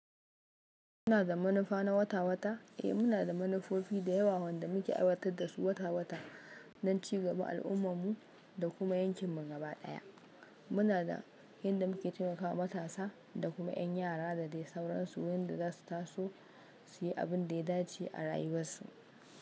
Muna da manufa na wata-wata. Eh, muna da manufofi da yawa wanda muke aiwatar da su wata-wata don ci gaba al'ummarmu da kuma yankinmu gaba ɗaya. Muna da inda muke taimakawa matasa da kuma 'yan yara da dai sauransu, yanda za su taso su yi abin da ya dace a rayuwarsu.